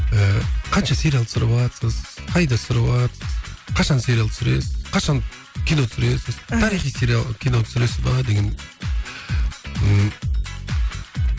ыыы қанша сериал түсіріватсыз қайда түсіріватсыз қашан сериал түсіресіз қашан кино түсіресіз тарихи сериал кино түсіресіз бе деген